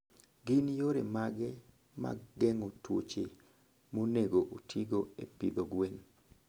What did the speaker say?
Gin yore mage mag geng'o tuoche monego otigo e pidho gwen?